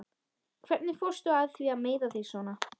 Hvernig fórstu að því að meiða þig svona?